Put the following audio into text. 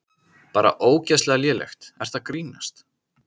Bara ógeðslega lélegt, ertu að grínast?